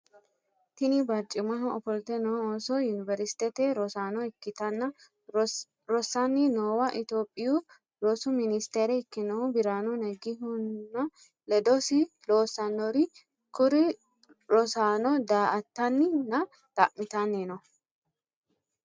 Tini barcimaho ofolte noo ooso yuniveristete rosaano ikkitanna rossanni noowa itiyopiyu rosu minisitere ikkinnohu biraanu nagihunna ledosi loossannori kuri rosaano daa"aattanni nna xa'mitanni no.